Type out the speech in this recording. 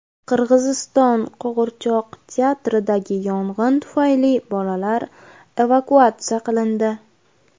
Qirg‘iziston qo‘g‘irchoq teatridagi yong‘in tufayli bolalar evakuatsiya qilindi.